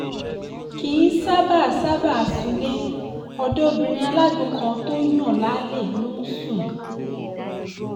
kì í ṣáàbàá ṣáàbàá súnlé ọ̀dọ̀ obìnrin alágbó kan tó ń yan lálè ló ń sùn